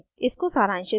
इसको सारांशित करते हैं